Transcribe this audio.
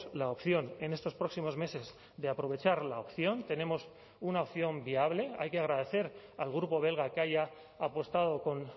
la opción en estos próximos meses de aprovechar la opción tenemos una opción viable hay que agradecer al grupo belga que haya apostado con